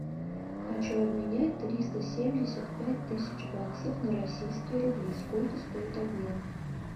хочу обменять триста семьдесят пять тысяч баксов на российские рубли сколько стоит обмен